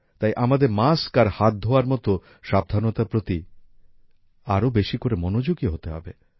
তাই আমাদের মাস্ক আর হাত ধোয়ার মতো সাবধানতার প্রতি আরো বেশি করে মনোযোগী হতে হবে